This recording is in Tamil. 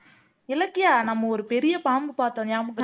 இலக்கியா நம்ம ஒரு பெரிய பாம்பு பாத்தோம் ஞாபகம்